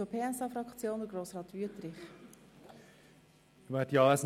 Für die SP-JUSO-PSA-Fraktion hat Grossrat Wüthrich das Wort.